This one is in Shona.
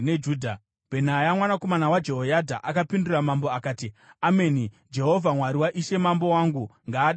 Bhenaya mwanakomana waJehoyadha akapindura mambo akati, “Ameni! Jehovha, Mwari waishe mambo wangu, ngaadarowo!